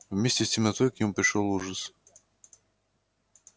вместе с темнотой к нему пришёл ужас